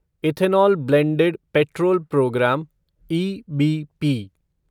ethanol blended petrol program EBP